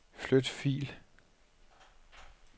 Flyt fil.